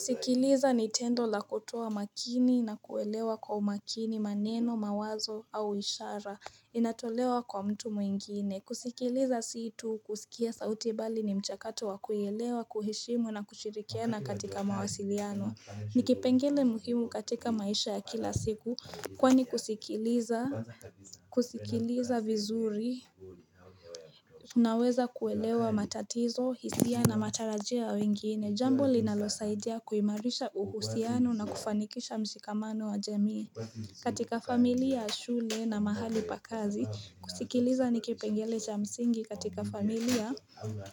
Sikiliza ni tendo la kutoa makini na kuelewa kwa umakini maneno, mawazo au ishara inatolewa kwa mtu mwingine. Kusikiliza si tu kusikia sauti bali ni mchakato wa kuielewa, kuheshimu na kushirikiana katika mawasiliano. Ni kipengele muhimu katika maisha ya kila siku. Kwani kusikiliza vizuri Unaweza kuelewa matatizo, hisia na matarajio ya wengine, jambo linalosaidia kuimarisha uhusiano na kufanikisha mshikamano wa jamii. Katika familia ya shule na mahali pa kazi, kusikiliza ni kipengele cha msingi katika familia.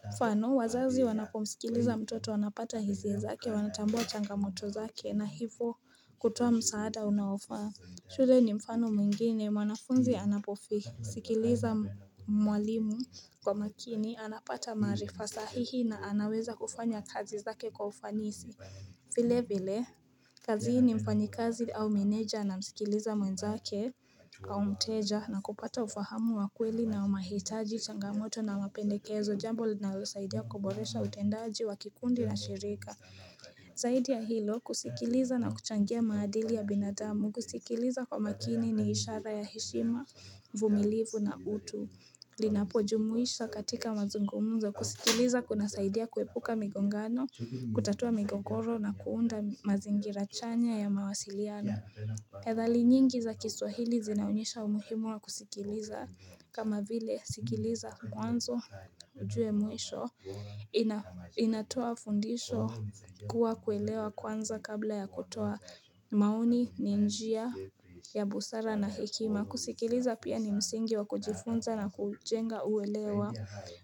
Mfano, wazazi wanapomsikiliza mtoto wanapata hisia zake, wanatambua changamoto zake na hivyo kutoa msaada unaofaa shule ni mfano mwingine, mwanafunzi anaposikiliza mwalimu kwa makini anapata maarifa sahihi na anaweza kufanya kazi zake kwa ufanisi. Vilevile, kazini mfanyikazi au meneja anamsikiliza mwenzake au mteja na kupata ufahamu wa kweli na umahitaji changamoto na mapendekezo, jambo linalosaidia kuboresha utendaji wa kikundi na shirika. Zaidi ya hilo, kusikiliza na kuchangia maadili ya binadamu, kusikiliza kwa makini ni ishara ya heshima, uvumilivu na utu. Linapojumuisha katika mazungumuzo, kusikiliza kunasaidia kuepuka migongano, kutatua migogoro na kuunda mazingira chanya ya mawasiliano. Methali nyingi za kiswahili zinaonyesha umuhimu wa kusikiliza kama vile, sikiliza mwanzo ujue mwisho inatoa fundisho kuwa kuelewa kwanza kabla ya kutoa maoni, ni njia ya busara na hekima. Kusikiliza pia ni msingi wa kujifunza na kujenga uelewa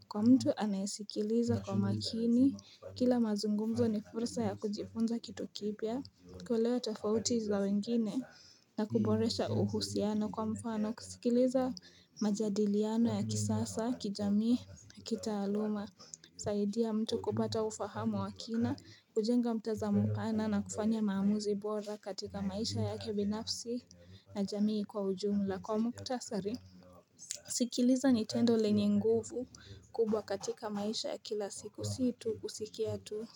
kwa mtu anayesikiliza kwa makini, kila mazungumzo ni fursa ya kujifunza kitu kipya kuelewa tofauti za wengine na kuboresha uhusiano kwa mfano, kusikiliza majadiliano ya kisasa, kijamii na kitaaluma husaidia mtu kupata ufahamu wa kina, hujenga mtazamo pana na kufanya maamuzi bora katika maisha yake binafsi na jamii kwa ujumla. Kwa muktasari kusikiliza ni tendo lenye nguvu kubwa katika maisha ya kila siku si tu kusikia tu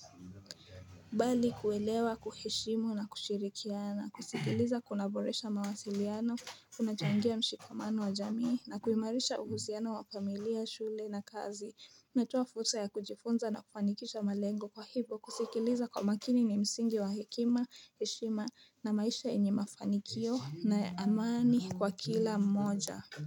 Bali kuelewa, kuheshimu na kushirikiana. Kusikiliza kunaboresha mawasiliano kunachangia mshikamano wa jamii na kuimarisha uhusiano wa familia, shule na kazi Najua fursa ya kujifunza na kufanikisha malengo kwa hivyo, kusikiliza kwa makini ni msingi wa hekima, heshima na maisha yenye mafanikio na amani kwa kila mmoja.